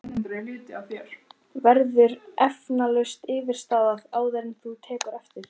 Verður eflaust yfirstaðið, áður en þú tekur eftir?!